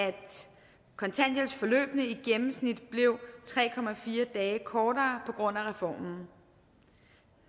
kontanthjælpsforløbene i gennemsnit blev tre dage kortere på grund af reformen